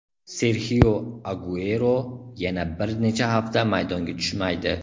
Serxio Aguero yana bir necha hafta maydonga tushmaydi.